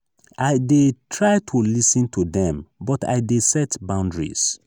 i dey try to lis ten to dem but i dey set boundaries.